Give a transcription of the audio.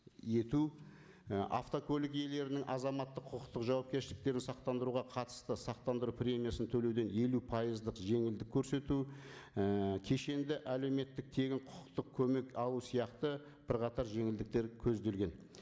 ету і автокөлік иелерінің азаматтық құқықтық жауапкершіліктерін сақтандыруға қатысты сақтандыру премиясын төлеуден елу пайыздық жеңілдік көрсету ііі кешеңді әлеуметтік тегін құқықтық көмек алу сияқты бірқатар жеңілдіктер көзделген